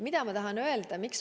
Mida ma tahan öelda?